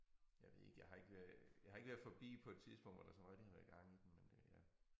Jeg ved ikke jeg har ikke øh jeg har ikke været forbi på et tidspunkt hvor der sådan rigtig har været gang i den men øh ja